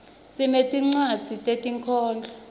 sinetincwadzi tetinkhondlo